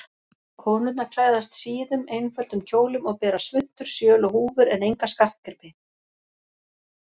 Konurnar klæðast síðum, einföldum kjólum og bera svuntur, sjöl og húfur en enga skartgripi.